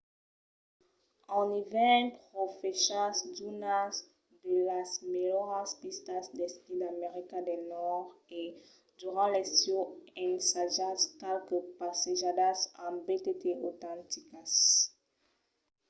en ivèrn profechatz d'unas de las melhoras pistas d'esquí d’america del nòrd e durant l’estiu ensajatz qualques passejadas en btt autenticas